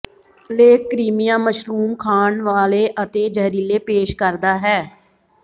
ਲੇਖ Crimea mushroom ਖਾਣ ਵਾਲੇ ਅਤੇ ਜ਼ਹਿਰੀਲੇ ਪੇਸ਼ ਕਰਦਾ ਹੈ